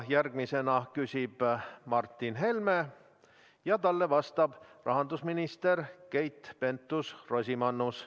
Järgmisena küsib Martin Helme ja talle vastab rahandusminister Keit Pentus-Rosimannus.